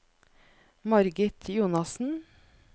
Margit Jonassen